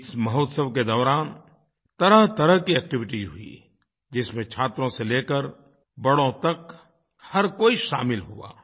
इस महोत्सव के दौरान तरहतरह की एक्टिविटी हुई जिसमें छात्रों से लेकर बड़ों तक हर कोई शामिल हुआ